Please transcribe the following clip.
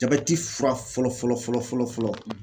Jabɛti fura fɔlɔ fɔlɔ fɔlɔ fɔlɔ fɔlɔ.